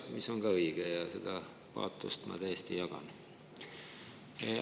See on ka õige ja seda paatost ma täiesti jagan.